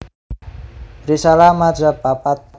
Risalah madzhab papat